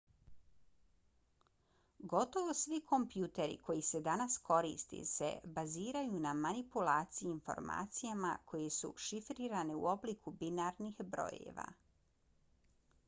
gotovo svi kompjuteri koji se danas koriste se baziraju na manipulaciji informacijama koje su šifrirane u obliku binarnih brojeva